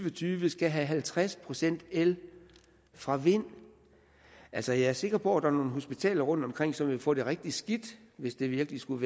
og tyve skal have halvtreds procent el fra vind altså jeg er sikker på at der er nogle hospitaler rundtomkring som vil få det rigtig skidt hvis det virkelig skulle